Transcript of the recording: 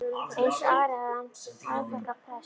Eins og Ari hafði hann afþakkað prest.